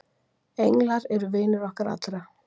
Englar eru vinir okkar allra.